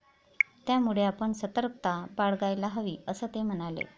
त्यामुळे आपण सतर्कता बाळगायला हवी, असं ते म्हणाले.